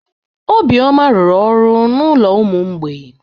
Obioma rụrụ ọrụ n'ụlọ ụmụ mgbei.